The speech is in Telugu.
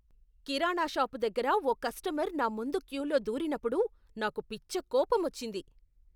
కిరాణా షాపు దగ్గర ఓ కస్టమర్ నా ముందు క్యూలో దూరినప్పుడు నాకు పిచ్చ కోపం వచ్చింది.